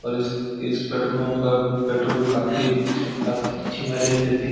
और इस इस पेट्रोल पम्प का पेट्रोल काफी अच्छी माइलेज देती।